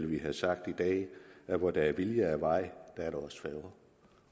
ville have sagt at at hvor der er vilje og vej er der også færger